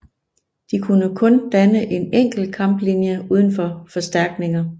De kunne kun danne en enkelt kamplinje uden forstærkninger